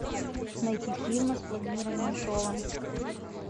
найти фильмы с владимиром меньшовым